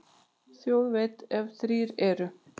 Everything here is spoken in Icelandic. Þjóð veit, ef þrír eru.